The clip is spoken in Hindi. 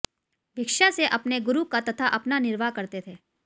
भिक्षा से अपने गुरु का तथा अपना निर्वाह करते थे